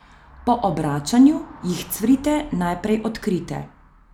Po obračanju jih cvrite naprej odkrite.